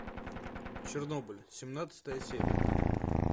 чернобыль семнадцатая серия